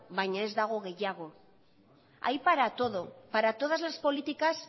baina ez dago gehiago hay para todo para todas las políticas